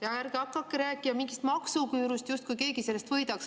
Ja ärge hakake rääkima mingist maksuküürust, justkui keegi sellest võidaks.